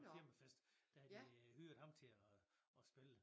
Firmafest der havde de øh hyret ham til og spille